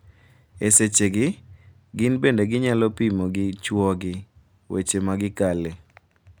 E sechegi, gin bende ginyalo pimo gi chwogi weche ma gikale.